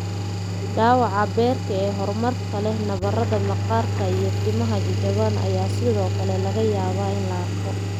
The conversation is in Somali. Dhaawaca beerka ee horumarka leh, nabarada maqaarka, iyo timaha jajaban ayaa sidoo kale laga yaabaa in la arko.